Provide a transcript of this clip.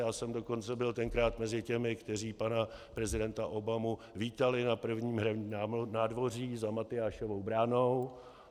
Já jsem dokonce byl tenkrát mezi těmi, kteří pana prezidenta Obamu vítali na prvním hradním nádvoří za Matyášovou branou.